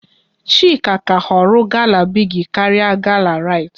Chika ka họrọ gala Bigi karịa gala Rite